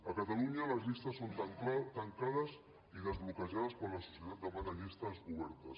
a catalunya les llistes són tancades i desbloquejades quan la societat demana llistes obertes